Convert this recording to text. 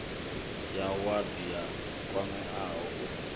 ya wadi a kwameaho u